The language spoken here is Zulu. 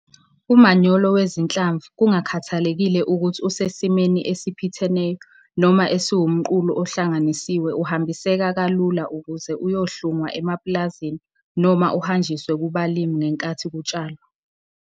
Umanyolo wezinhlamvu kungakhathalekile ukuthi usesimeni esiphitheneyo noma esiwumqulu ohlanganisiwe uhambiseka kalula ukuze uyohlungwa emapulazini noma uhanjiswe kubalimi ngenkathi kutshalwa.